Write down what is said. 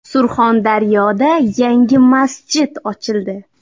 Surxondaryoda yangi masjid ochildi .